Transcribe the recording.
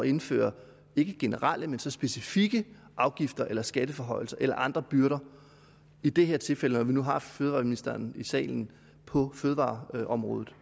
indføre ikke generelle men så specifikke afgifter eller skatteforhøjelser eller andre byrder og i det her tilfælde når vi nu har fødevareministeren i salen på fødevareområdet